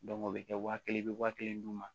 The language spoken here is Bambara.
o bɛ kɛ waa kelen bɛ waa kelen d'u ma